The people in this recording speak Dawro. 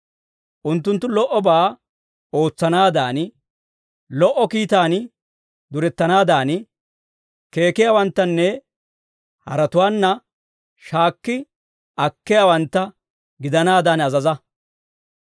Unttunttu lo"obaa ootsanaadan, lo"o kiitaan durettanaadan, keekiyaawanttanne haratuwaanna shaakki akkiyaawantta gidanaadan azaza.